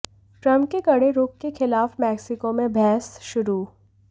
Trump के कड़े रूख के खिलाफ मेक्सिको में बहस शुरू